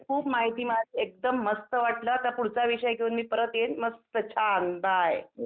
खूप माहिती एकदम मस्त वाटलं पुढचा विषय घेऊन मी परत येईन मस्त वाटल छान बाय.